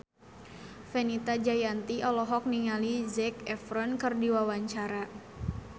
Fenita Jayanti olohok ningali Zac Efron keur diwawancara